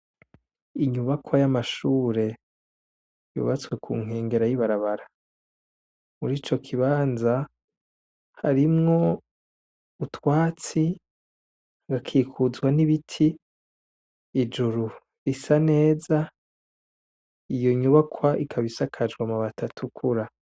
Inyubakwa y'amashure yubatse ku nkengera y'ibarabara, murico kibanza harimwo utwatsi, hagakikuzwa n'ibiti, ijuru risa neza, iyo nyubakwa ikaba isakajwe amabati atukura.